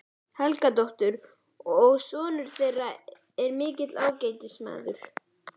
Helgadóttur, og sonur þeirra er mikill ágætismaður.